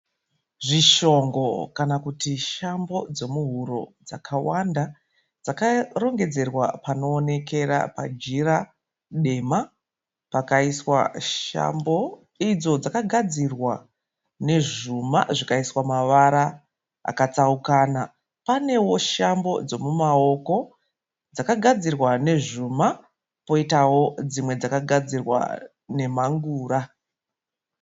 Zvishongo kana kuti shambo dzomuhuro dzakawanda dzakarongedzerwa panoonekera pajira dema. Pakaiswa shambo idzo dzakagadzirwa nezvuma zvikaiswa mavara akatsaukana. Panewo shambo dzomumaoko dzakagadzirwa nezvuma poitawo dzimwe dzakagadzirwa nemhangura.